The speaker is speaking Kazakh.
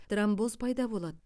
тромбоз пайда болады